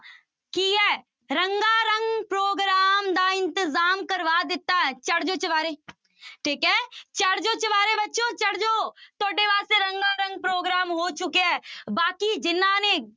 ਕੀ ਹੈ ਰੰਗਾ ਰੰਗ program ਦਾ ਇੰਤਜ਼ਾਮ ਕਰਵਾ ਦਿੱਤਾ ਹੈ ਚੜ੍ਹ ਜਾਓ ਚੁਬਾਰੇ ਠੀਕ ਹੈ ਚੜ੍ਹ ਜਾਓ ਚੁਬਾਰੇ ਬੱਚਿਓ ਚੜ੍ਹ ਜਾਓ, ਤੁਹਾਡੇ ਵਾਸਤੇ ਰੰਗਾ ਰੰਗ program ਹੋ ਚੁੱਕਿਆ ਹੈ ਬਾਕੀ ਜਿਹਨਾਂ ਨੇ